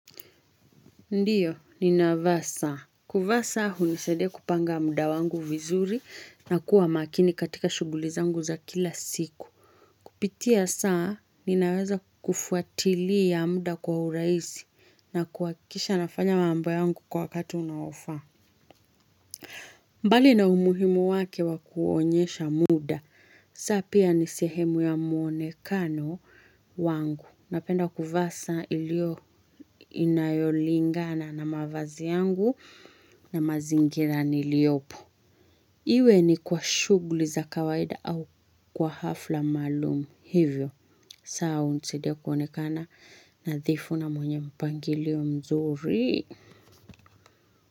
Ndiyo, ninavaa saa. Kuvaa saa hunisaidia kupanga muda wangu vizuri na kuwa makini katika shughuli zangu za kila siku. Kupitia saa, ninaweza kufuatilia muda kwa urahisi na kuhakisha nafanya mambo yangu kwa wakati unaofaa. Mbali na umuhimu wake wa kuonyesha muda. Saa pia ni sehemu ya muonekano wangu. Napenda kuvaa saa ilio inayolingana na mavazi yangu na mazingira niliyopo. Iwe ni kwa shughuli za kawaida au kwa hafla maalum. Hivyo, saa hunisaidia kuonekana nadhifu na mwenye mpangilio mzuri.